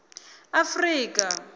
afrika